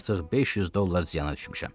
Mən artıq 500 dollar ziyana düşmüşəm.